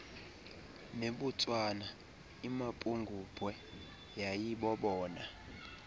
nebotswana imapungubwe yayibobona